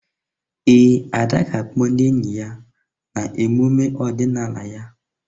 Ee, Ada ga-akpọ ndị enyi ya na emume ọdịnala ya.